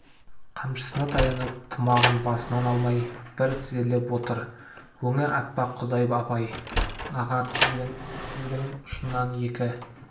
қамшысына таянып тымағын басынан алмай бір тізерлеп отыр өңі аппақ құдай абай аға тізгін ұшынан екі